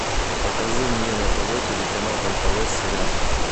покажи мне на тв телеканал нтв сериал